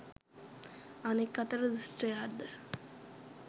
අනෙක් අතට දුෂ්ටයාද